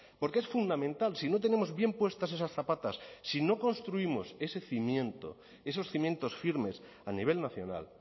porque es fundamental si no tenemos bien puestas esas zapatas si no construimos ese cimiento esos cimientos firmes a nivel nacional